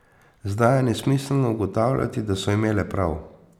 Zdaj je nesmiselno ugotavljati, da so imele prav.